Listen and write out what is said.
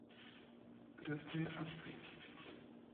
крестные отцы